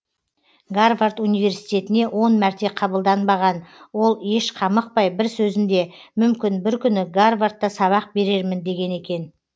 гарвард университетіне он мәрте қабылданбаған ол еш қамықпай бір сөзінде мүмкін бір күні гавардда сабақ берермін деген екен